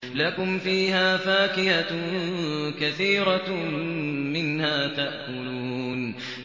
لَكُمْ فِيهَا فَاكِهَةٌ كَثِيرَةٌ مِّنْهَا تَأْكُلُونَ